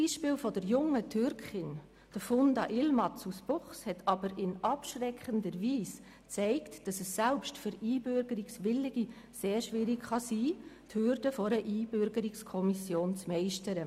Das Beispiel der jungen Türkin Funda Yilmaz aus Buchs hat aber in abschreckender Weise gezeigt, dass es selbst für Einbürgerungswillige sehr schwierig sein kann, die Hürde einer Einbürgerungskommission zu meistern.